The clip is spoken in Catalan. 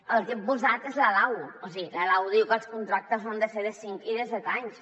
el que hi hem posat és la lau o sigui la lau diu que els contractes han de ser de cinc i de set anys